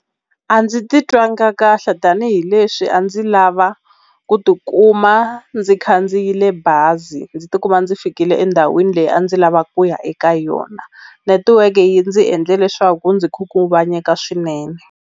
A ndzi titwangi kahle tanihileswi a ndzi lava ku ti kuma ndzi khandziyile bazi ndzi ti kuma ndzi fikile endhawini leyi a ndzi lavaka ku ya eka yona netiweke yi ndzi endle leswaku ndzi khunguvanyeka swinene.